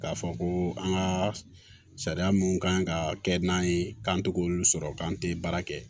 K'a fɔ ko an ka sariya mun kan ka kɛ n'an ye k'an to k'olu sɔrɔ k'an tɛ baara kɛ